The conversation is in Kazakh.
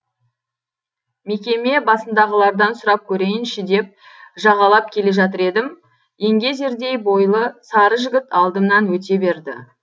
мекеме басындағылардан сұрап көрейінші деп жағалап келе жатыр едім еңгезердей бойлы сары жігіт алдымнан өте берді